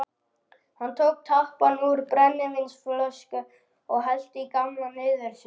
Hann tók tappann úr brennivínsflösku og hellti í gamla niðursuðudós.